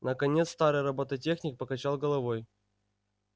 наконец старый роботехник покачал головой